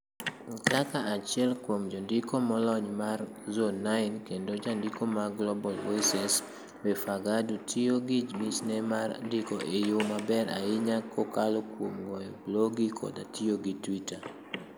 Kaka achiel kuom jondiko molony mar Zone9 kendo jandiko mar Global Voices, Befeqadu tiyo gi michne mar ndiko e yo maber ahinya kokalo kuom goyo blogi koda tiyo gi Twitter.